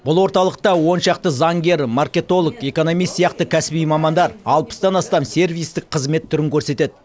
бұл орталықта он шақты заңгер маркетолог экономист сияқты кәсіби мамандар алпыстан астам сервистік қызмет түрін көрсетеді